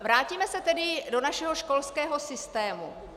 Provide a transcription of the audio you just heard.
Vrátíme se tedy do našeho školského systému.